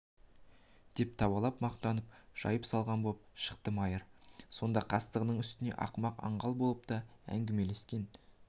деп табалап мақтанып жайып салған боп шықты майыр сондай қастығының үстіне ақымақ аңғал болып та әңгімелескен